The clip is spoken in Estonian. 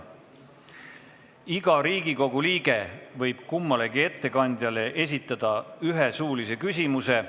Iga Riigikogu liige võib kummalegi ettekandjale esitada ühe suulise küsimuse.